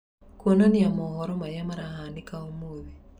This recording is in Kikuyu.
kuonania mohoro maria marahanika ũmũthĩ